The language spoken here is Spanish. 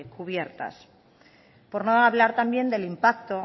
cubiertas por no hablar también del impacto